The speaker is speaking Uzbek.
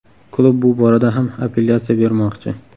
Klub bu borada ham apellyatsiya bermoqchi.